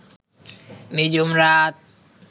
নিঝুম রাত